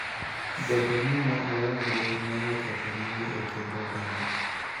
Bedo ni ne oonge ne oketho nyinge e kind oganda.